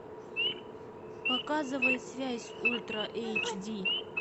показывай связь ультра эйч ди